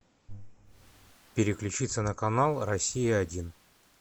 переключиться на канал россия один